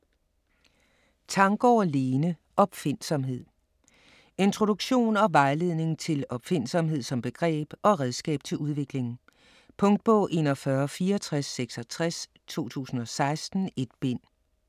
Tanggaard, Lene: Opfindsomhed Introduktion og vejledning til opfindsomhed som begreb og redskab til udvikling. Punktbog 416466 2016. 1 bind.